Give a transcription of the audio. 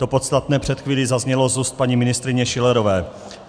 To podstatné před chvílí zaznělo z úst paní ministryně Schillerové.